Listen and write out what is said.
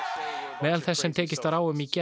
meðal þess sem tekist var á um í gær